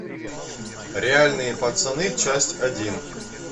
реальные пацаны часть один